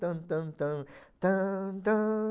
tan tan tan tan tan